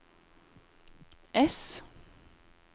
ess